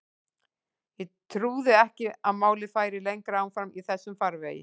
Ég trúði ekki að málið færi lengra áfram í þessum farvegi.